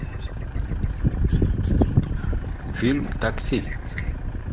фильм такси